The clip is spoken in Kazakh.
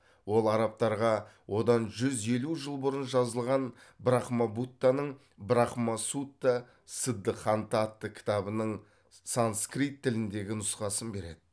ол арабтарға одан жүз елу жыл бұрын жазылған брахмабуттаның брахма сутта сыддыханта атты кітабының санскирт тіліндегі нұсқасын береді